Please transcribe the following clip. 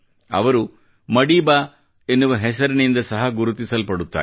ಅವರು ಮಡೀಬಾ ಎನ್ನುವ ಹೆಸರಿನಿದ ಸಹ ಗುರುತಿಸಿಸಲ್ಪಡುತ್ತಾರೆ